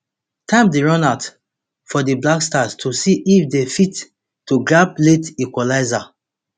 time dey run out for di blackstars to see if dey fit to grab late equalizer